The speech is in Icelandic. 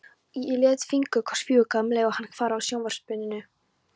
Lét fingurkoss fjúka um leið og hún hvarf af sjónarsviðinu.